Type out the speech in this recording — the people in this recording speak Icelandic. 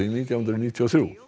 nítján hundruð níutíu og þrjú